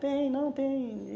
Tem, não tem.